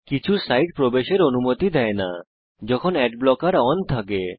কিছু সাইট প্রবেশের অনুমতি দেয় না যখন অ্যাড ব্লকার অন থাকে